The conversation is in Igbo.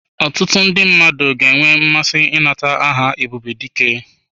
Ọtụtụ ndị mmadụ ga-enwe mmasị ịnata aha Ebubedike.